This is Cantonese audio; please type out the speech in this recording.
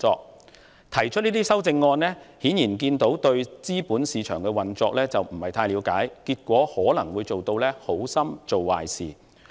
因此，議員之所以提出這些修訂議案，顯然是對資本市場的運作不太了解，結果可能會演變成"好心做壞事"。